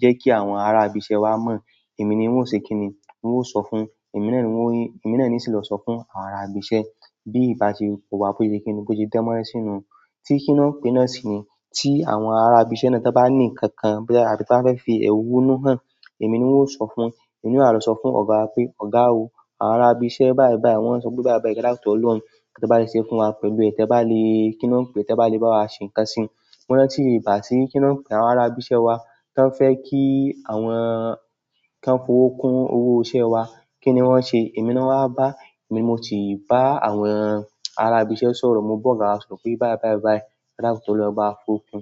jẹ́ kí àwọn ará ibi iṣẹ́ wa mọ̀, èmi ni n ó ṣe kíni, n ó sọ fún, èmi náà ni sì lọ sọ fún àwọn ará ibi iṣẹ́. Bí ìbáṣepọ̀ wá bó ṣe kíni, bó ṣe dánmọ́rán sínú, tí kíni ó pè náà sì ni tí àwọn ará ibi iṣẹ́ náà tí ọ bá ní ǹkankan tàbí ti won bá fẹ́ fi è honu hàn, èmi ni n ó sọ fún, èmi náà a lọ sọ fún ọ̀gá pé "Ọ̀gá o, àwọn ará ibi iṣẹ́ báì báì wọ́n ń sọ pé báì báì e dakun tó lọ́hun. Te bá le ṣe é fún wa pẹ̀lú, tẹ̀ bá le, kíni ó ń pè é, ẹ bá le bá wa ṣe nkan sí i." Mo rántí ìgbá tí, kíni ó ń pè, àwọn ará ibi iṣẹ́ wa tí wọ́n fẹ́ kí àwọn, kí wọ́n fi owó kun owó iṣẹ́ wa, kí ni wọ́n ṣe? Èmi náà wá bá, èmi mo ti bá àwọn ará ibi iṣẹ́ sọ̀rọ̀, mo bá ọ̀gá wa sọ̀rọ̀ pé báì báì báì e dakun tóri olọ́hun,